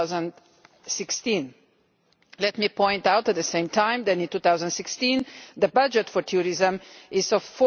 2016. I would point out, at the same time, that in 2016 the budget for tourism is EUR